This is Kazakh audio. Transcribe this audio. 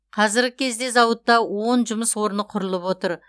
қазіргі кезде зауытта он жұмыс орны құрылып отыр